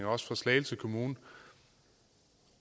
også slagelse kommune